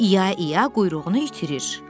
İa-ia quyruğunu itirir.